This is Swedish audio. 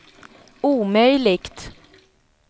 omöjligt